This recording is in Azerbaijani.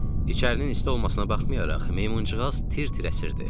İçərinin isti olmasına baxmayaraq, meymuncığaz tir-tir əsirdi.